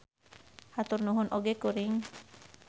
Hatur nuhun oge kuring.